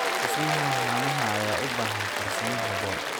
Dhismaha haamaha ayaa u baahan farsamo habboon.